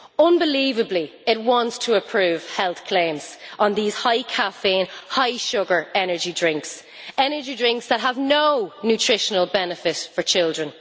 Unbelievably, it wants to approve health claims on these high caffeine, high sugar energy drinks drinks that have no nutritional benefit for children.